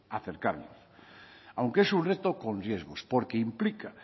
acercarnos aunque es un reto con riesgos porque implica